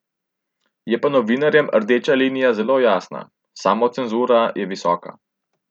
Je pa novinarjem rdeča linija zelo jasna, samocenzura je visoka.